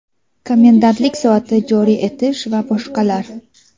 komendantlik soati joriy etish va boshqalar).